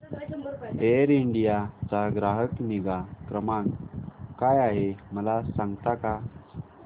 air India चा ग्राहक निगा क्रमांक काय आहे मला सांगता का